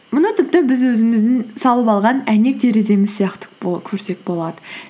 мұны тіпті біз өзіміздің салып алған әйнек тереземіз сияқты көрсек болады